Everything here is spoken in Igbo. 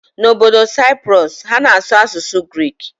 N'obodo Cyprus, ha na-asụ asụsụ Grik.